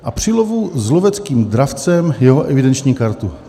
"A při lovu s loveckým dravcem jeho evidenční kartu."